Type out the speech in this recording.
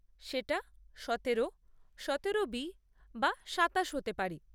সেটা সতেরো, সতেরো বি বা সাতাশ হতে পারে।